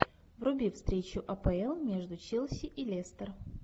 вруби встречу апл между челси и лестер